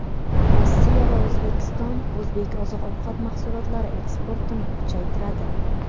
Rossiya va O‘zbekiston o‘zbek oziq-ovqat mahsulotlari eksportini kuchaytiradi.